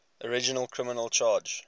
original criminal charge